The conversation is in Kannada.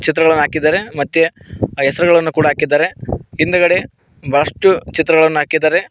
ಚಿತ್ರಗಳನ್ನು ಹಾಕಿದ್ದಾರೆ ಮತ್ತೆ ಅ ಹೆಸರುಗಳನ್ನು ಕೂಡ ಹಾಕಿದ್ದಾರೆ ಹಿಂದಗಡೆ ಬಹಳಷ್ಟು ಚಿತ್ರಗಳನ್ನು ಹಾಕಿದ್ದಾರೆ.